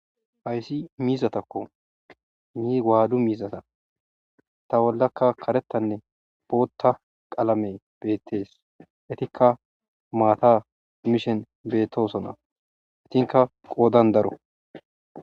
Hayssi miizatakko ni gaadu miizata ta bollakka karettanne bootta qalame beettees itikka maata mishen bettosona itinka qoodan daro